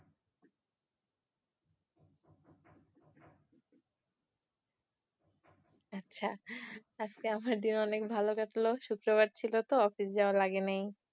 আচ্ছা আজকে আমার দিন অনেক ভালো কাটলো শুক্রবার ছিল তো তাই অফিস যাওয়া লাগে নাই